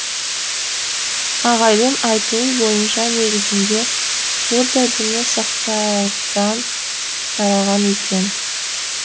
ағайдың айтуы бойынша негізінде будда діні сақтардан тараған екен